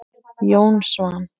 Jón Svan.